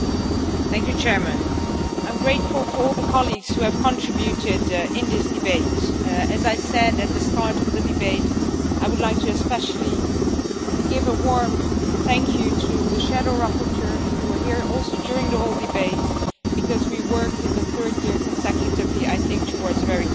Mr President, I am grateful to all the colleagues who have contributed to this debate. As I said at the start of the debate, I would like especially to give a warm thank you to the shadow rapporteurs who were also here during the whole debate, because we worked in the third year consecutively towards a very constructive